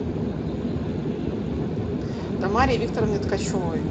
тамаре викторовне ткачевой